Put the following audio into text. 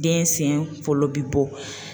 Den sen fɔlɔ bi bɔ